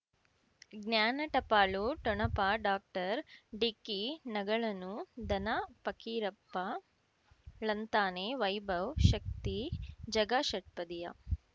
ಜ್ಞಾನ ಟಪಾಲು ಠೊಣಪ ಡಾಕ್ಟರ್ ಢಿಕ್ಕಿ ಣಗಳನು ಧನ ಫಕೀರಪ್ಪ ಳಂತಾನೆ ವೈಭವ್ ಶಕ್ತಿ ಝಗಾ ಷಟ್ಪದಿಯ